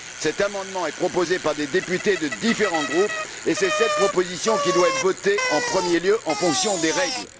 Cet amendement est proposé par des députés de différents groupes et c'est cette proposition qui doit être votée en premier lieu, en fonction des règles.